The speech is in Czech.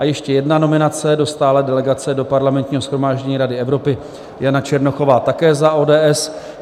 A ještě jedna nominace, do stálé delegace do Parlamentního shromáždění Rady Evropy Jana Černochová také za ODS.